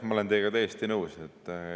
Ma olen teiega täiesti nõus.